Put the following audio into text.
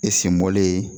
E sen bɔlen